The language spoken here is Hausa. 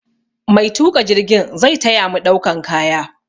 Maituƙa jirgin zai ta ya mu ɗaukan kaya.